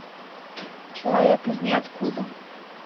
человек из ниоткуда